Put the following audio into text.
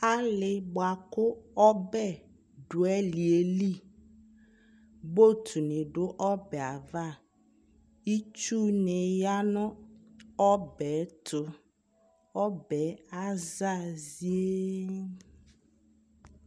Ali bua ku ɔbɛ du ali yɛ liBot ni du ɔbɛ avaItsu ni ya nu ɔbɛ tu Ɔbɛ aza zienn